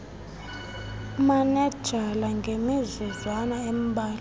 umanenjala ngemizuzwana embalwana